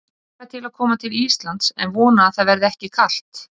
Ég hlakka til að koma til Íslands en vona að það verði ekki kalt.